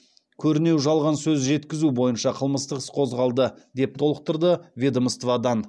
көрінеу жалған сөз жеткізу бойынша қылмыстық іс қозғалды деп толықтырды ведомстводан